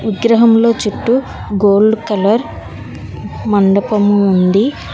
విగ్రహంల చుట్టూ gold colour మండపము ఉంది